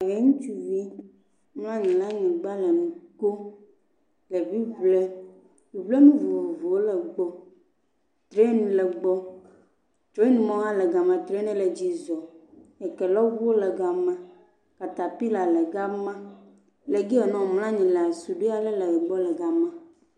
Yevu ŋutsuvi mlɔ anyi ɖe anyigba le nu kpɔm le ŋliŋlim. Ŋeŋlenu vovovowo le ga ma. Trɛni le gbɔ, trɛnimɔ hã le ga ma trɛnia le edzi zɔm. Ekelɔŋu le ga ma. Katapila le ga ma. Le ge ya womlɔ anyi ɖo suɖui aɖe le egbɔ le ga ma.